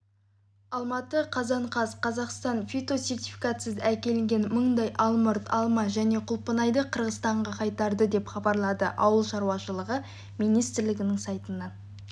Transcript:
алматы қазан қаз қазақстан фитосертификатсыз әкелінген мыңдай алмұрт алма және құлпынайды қырғызстанға қайтарды деп хабарлады ауыл шаруашылығы министрлігінің сайтынан